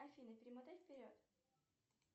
афина перемотай вперед